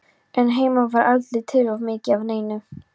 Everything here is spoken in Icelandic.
En heima var aldrei til of mikið af neinu.